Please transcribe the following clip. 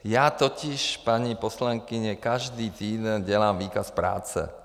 Já totiž, paní poslankyně, každý týden dělám výkaz práce.